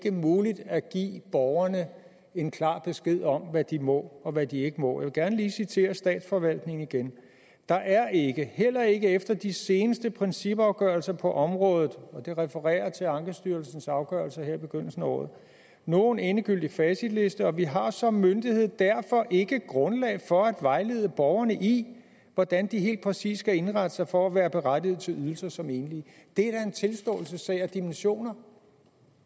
er muligt at give borgerne en klar besked om hvad de må og hvad de ikke må jeg vil gerne lige citere statsforvaltningen igen der er ikke heller ikke efter de seneste principafgørelser på området og det refererer til ankestyrelsens afgørelser her i begyndelsen af året nogen endegyldig facitliste og vi har som myndighed derfor ikke grundlag for at vejlede borgerne i hvordan de helt præcis skal indrette sig for at være berettiget til ydelser som enlige det er da en tilståelsessag af dimensioner